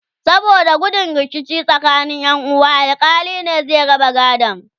saboda gudun rikici tsakanin Ƴan uwa alkali ne zai raba gadon